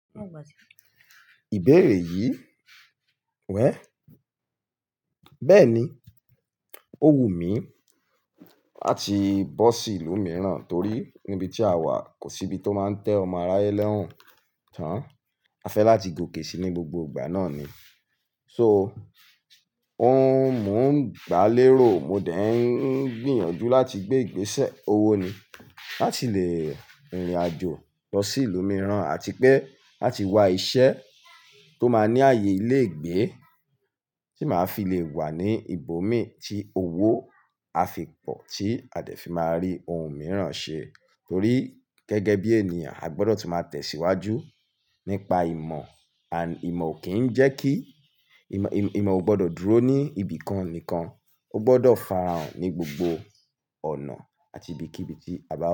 Ìbéèrè yìí, wẹ́, bẹ́ẹ̀ni, ó wù mí láti bọ́ sí ìlú mìíràn torí níbi tí a wà kò sí ibi tó máa ń tẹ́ ọmọ aráyé lọ́rùn tán. A fẹ́ láti gòkè si ní gbogbo ìgbà náà ni. So, ó ń mú un gbá lé ro, mo dẹ́ ń gbìyànjú láti gbé ìgbésẹ̀ owó ni láti lè rìnrìn àjò lọ sí ìlú mìíràn àti pé láti wá iṣẹ́ tó máa ní ààyè ilé ìgbé tí màá fi le wà ní ibòmí tí owó á fi pọ̀ tí a dẹ̀ fi máa rí ohun mìíràn ṣe. Torí gẹ́gẹ́ bí ènìyàn, a gbọdọ̀ tí máa tẹ̀síwájú nípa ìmọ̀. Ìmọ̀ ò kì í jẹ́ kí-- ìmọ̀ ò gbọdọ̀ dúró ní ibìkan nìkan, ó gbọdọ̀ farahàn ní gbogbo ọ̀nà àti ibikíbi tí a bá lọ.